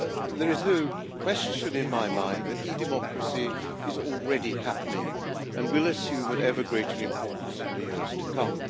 There is no question in my mind that e democracy is already happening and will assume ever greater importance in the years to come.